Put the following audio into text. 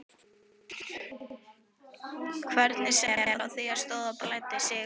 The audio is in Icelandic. Hvernig sem á því stóð blæddi Sigurði ekki.